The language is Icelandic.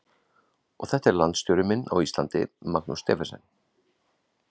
Og þetta er landsstjóri minn á Íslandi, Magnús Stephensen.